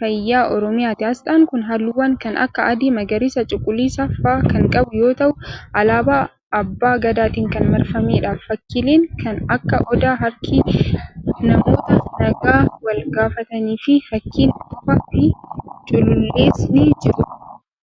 fayyaa oromiyaati. Asxaan kun, haalluuwwan kan akka: adii, magariisa, cuquliisa faa kan qabu yoo ta'u, alaabaa abbaa gadaatin kan marfamee dha. Fakkiileen kan akka odaa, harki namoota nagaa wal gaafatanii fi fakkiin bofaa fi culullees ni jiru.